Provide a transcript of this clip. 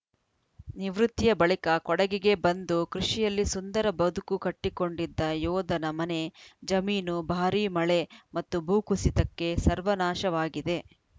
ನಿವೃತ್ತಿಯ ಬಳಿಕ ಕೊಡಗಿಗೆ ಬಂದು ಕೃಷಿಯಲ್ಲಿ ಸುಂದರ ಬದುಕು ಕಟ್ಟಿಕೊಂಡಿದ್ದ ಯೋಧನ ಮನೆ ಜಮೀನು ಭಾರೀ ಮಳೆ ಮತ್ತು ಭೂಕುಸಿತಕ್ಕೆ ಸರ್ವನಾಶವಾಗಿದೆ